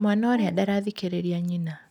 Mwana ũrĩa ndarathikĩrĩria nyina.